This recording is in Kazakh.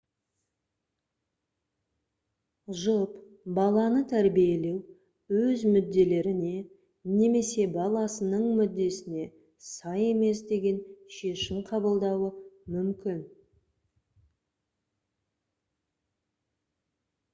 жұп баланы тәрбиелеу өз мүдделеріне немесе баласының мүддесіне сай емес деген шешім қабылдауы мүмкін